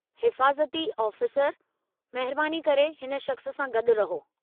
हिफ़ाज़ती आफ़ीसर, महिरबानी करे हिन शख़्स सां गॾु रहो।